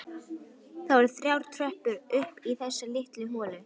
Það voru þrjár tröppur upp í þessa litlu holu.